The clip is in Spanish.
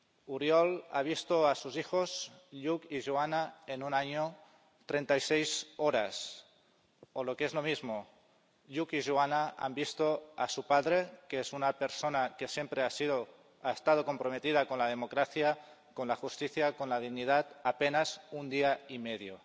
Oriol ha visto a sus hijos Lluc y Joana en un año 36 horas, o lo que es lo mismo, Lluc y Joana han visto a su padre —que es una persona que siempre ha estado comprometida con la democracia, con la justicia y con la dignidad— apenas un día y medio.